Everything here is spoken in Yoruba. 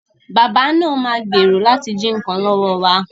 Bàbá náà ma gbèrò láti jí nǹkan lọ́wọ́ wa